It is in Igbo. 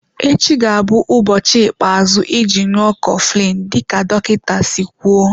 Echi ga-abụ ụbọchị ikpeazụ iji ṅụọ coflin dịka dọkịta si kwụọ.